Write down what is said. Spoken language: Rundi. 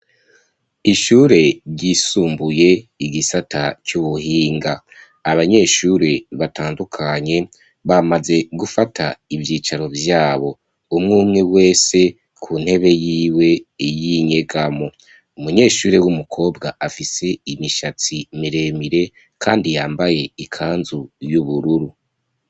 Ishure ryisumbuye igisata c'ubuhinga abanyeshure batandukanye bamaze gufata ibyicaro byabo umwumwe wese ku ntebe y'iwe y'inyegamo umunyeshure w'umukobwa afise imishatsi miremire kandi yambaye ikanzu y'ubururu.